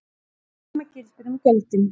Hið sama gildir um gjöldin.